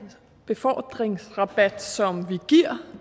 befordringsrabat som vi giver